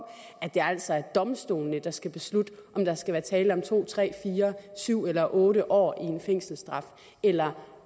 at det altså er domstolene der skal beslutte om der skal være tale om to tre fire syv eller otte år i en fængselsstraf eller